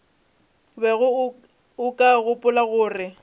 bego o ka gopola gore